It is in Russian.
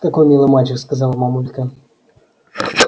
какой милый мальчик сказала мамулька